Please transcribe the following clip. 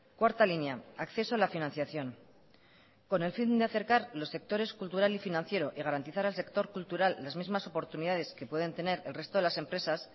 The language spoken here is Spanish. cuarta línea acceso a la financiación con el fin de acercar los sectores cultural y financiero y garantizar al sector cultural las mismas oportunidades que pueden tener el resto de las empresas